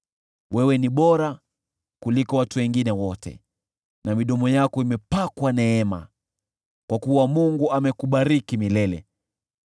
Wewe ni bora kuliko watu wengine wote na midomo yako imepakwa neema, kwa kuwa Mungu amekubariki milele.